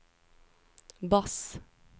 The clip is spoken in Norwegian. bass